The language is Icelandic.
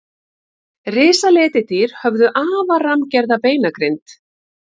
Risaletidýr höfðu afar rammgerða beinagrind.